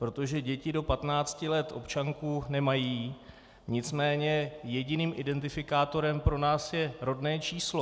Protože děti do 15 let občanku nemají, nicméně jediným identifikátorem pro nás je rodné číslo.